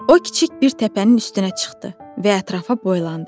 O, kiçik bir təpənin üstünə çıxdı və ətrafa boylandı.